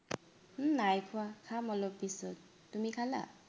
উম নাই খোৱা, খাম অলপ পিছত, তুমি খালা?